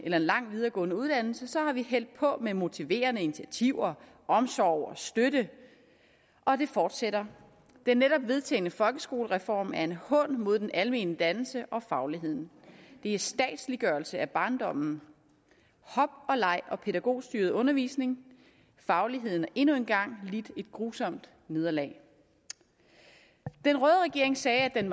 lang videregående uddannelse har vi hældt på med motiverende initiativer omsorg og støtte og det fortsætter den netop vedtagne folkeskolereform er en hån mod den almene dannelse og fagligheden det er statsliggørelse af barndommen hop og leg og pædagogstyret undervisning fagligheden endnu engang lidt et grusomt nederlag den røde regering siger at den